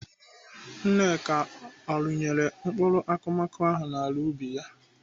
Nneka ọ rụnyela mkpụrụ akụmakụ n'ala ubi ya?